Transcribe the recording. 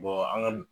an ka